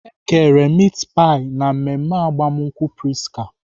E kere mit pai na mmemme agbamakwụkwọ Prisca.